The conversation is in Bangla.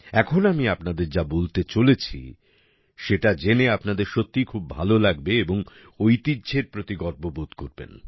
এখন আমি আপনাদের যা বলতে চলেছি সেটা জেনে আপনাদের সত্যিই খুব ভালো লাগবে এবং ঐতিহ্যের প্রতি গর্ববোধ করবেন